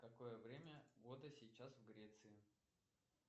какое время года сейчас в греции